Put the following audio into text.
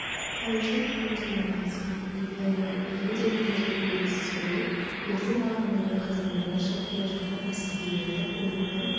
париждің түбінде орналасқан леваллуа-перре деген жерде белгісіз біреу верден алаңындағы казармадан шығып келе жатқан әскерилерді көлікпен